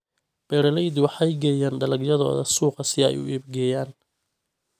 Beeraleydu waxay geeyaan dalagyadooda suuqa si ay u iibgeeyaan.